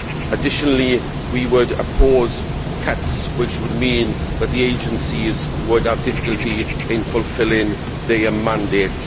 Additionally we would oppose cuts which would mean that the agencies would have difficulty in fulfilling their mandates.